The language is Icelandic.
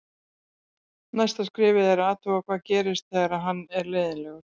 Næsta skrefið er að athuga hvað gerist þegar hann er leiðinlegur.